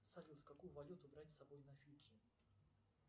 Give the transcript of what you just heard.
салют какую валюту брать с собой на фиджи